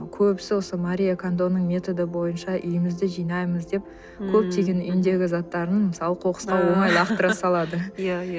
көбісі осы марио кандоның методы бойынша үйімізді жинаймыз деп көптеген үйіндегі заттарын мысалы қоқысқа оңай лақтыра салады иә иә